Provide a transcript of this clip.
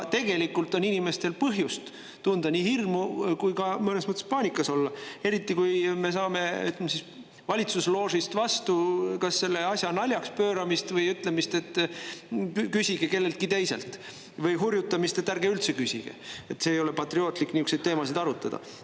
Tegelikult on inimestel põhjust tunda nii hirmu kui ka mõnes mõttes paanikas olla, eriti kui me saame valitsusloožist vastu kas selle asja naljaks pööramist või ütlemist, et küsige kelleltki teiselt, või hurjutamist, et ärge üldse küsige, et ei ole patriootlik niisuguseid teemasid arutada.